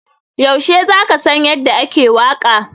Yaushe za ka san yadda ake waƙa?